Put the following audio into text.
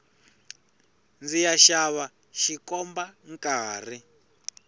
ndziya xava xikomba nkarhi